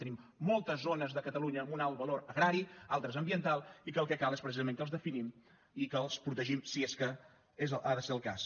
tenim moltes zones de catalunya amb un alt valor agrari altres ambiental i que el que cal és precisament que els definim i que els protegim si és que ha de ser el cas